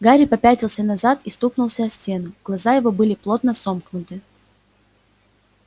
гарри попятился назад и стукнулся о стену глаза его были плотно сомкнуты